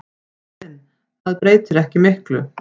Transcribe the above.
Óðinn: Það breytir ekki miklu.